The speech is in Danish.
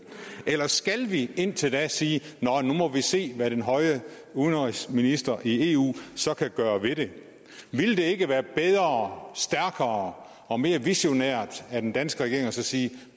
eller skal vi indtil da sige nå nu må vi se hvad den høje udenrigsminister i eu kan gøre ved det ville det ikke være bedre stærkere og mere visionært af den danske regering at sige